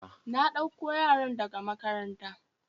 Na ɗako yaran da ga makaranta.